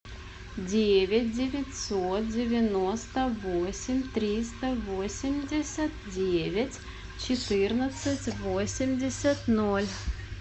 девять девятьсот девяносто восемь триста восемьдесят девять четырнадцать восемьдесят ноль